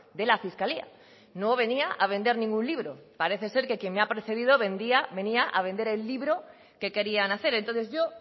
de la fiscalía no venía a vender ningún libro pare ser que quien me ha precedido venía a vender el libro que querían hacer entonces yo